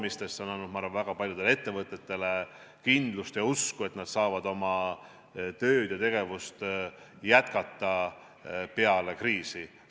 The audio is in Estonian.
See on andnud, ma arvan, väga paljudele ettevõtetele kindlust ja usku, et nad saavad oma tööd ja tegevust peale kriisi jätkata.